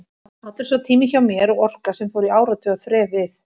Allur sá tími hjá mér og orka, sem fór í áratuga þref við